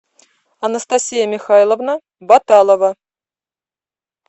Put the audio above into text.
анастасия михайловна баталова